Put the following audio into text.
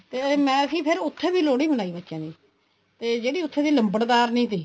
ਤੇ ਮੈਂ ਕੀ ਫ਼ੇਰ ਉੱਥੇ ਵੀ ਲੋਹੜੀ ਮਨਾਈ ਬੱਚਿਆਂ ਦੀ ਤੇ ਜਿਹੜੀ ਉੱਥੇ ਦੀ ਲੰਬਰਦਾਰਨੀ ਸੀ